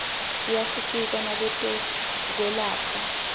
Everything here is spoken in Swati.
tiyasisita nakwetekwelapha